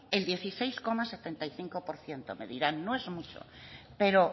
el dieciséis coma setenta y cinco por ciento me dirán que no es mucho pero